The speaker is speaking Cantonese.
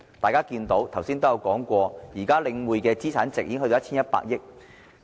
大家看到，剛才亦有議員提到，領展現在的資產值已經達到 1,100 億元。